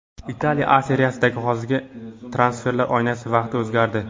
Italiya A Seriyasida yozgi transferlar oynasi vaqti o‘zgardi.